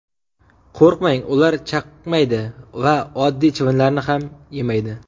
Qo‘rqmang, ular chaqmaydi va oddiy chivinlarni ham yemaydi.